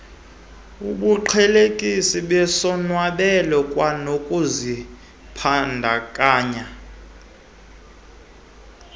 obuqhelekileyo besonwabela kwanokuzibandakanya